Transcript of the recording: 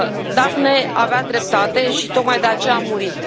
Daphne avea dreptate și tocmai de aceea a murit.